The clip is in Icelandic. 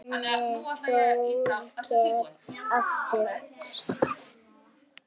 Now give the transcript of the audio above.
spurði Þórkell aftur.